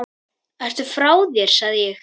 Ertu frá þér sagði ég.